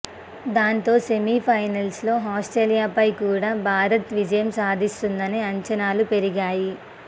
దాంతో సెమీ ఫైనల్లో ఆస్ట్రేలియాపై కూడా భారత్ విజయం సాధిస్తుందనే అంచనాలు పెరిగాయి